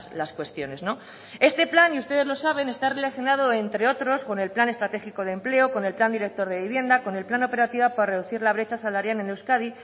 las cuestiones este plan y ustedes lo saben está relacionado entre otros con el plan estratégico de empleo con el plan director de vivienda con el plan operativo por reducir la brecha salarial en euskadi